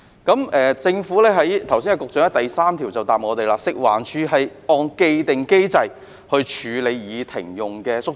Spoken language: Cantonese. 剛才局長在主體答覆的第三部分表示，食環署是按既定機制處理已停用的街市宿舍。